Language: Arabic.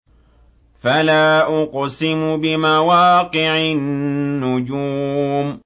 ۞ فَلَا أُقْسِمُ بِمَوَاقِعِ النُّجُومِ